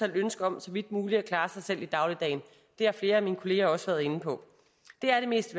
ønske om så vidt muligt at klare sig selv i dagligdagen det har flere af mine kolleger også været inde på det er det mest